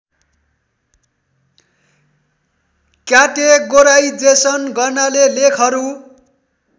categorisation गर्नाले लेखहरू